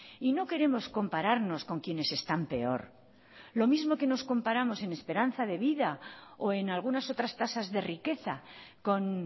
y no queremos compararnos con quienes están peor lo mismo que nos comparamos en esperanza de vida o en algunas otras tasas de riqueza con